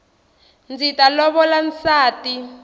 ndzi ta lovola nsati